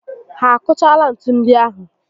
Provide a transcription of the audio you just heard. Ha akụchaala ntu ndi ahụ?